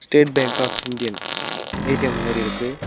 State bank of Indian ATM மாரி இருக்கு.